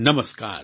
નમસ્કાર